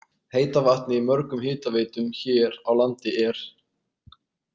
Heita vatnið í mörgum hitaveitum hér á landi er.